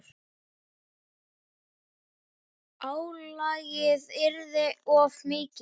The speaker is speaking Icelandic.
Álagið yrði of mikið.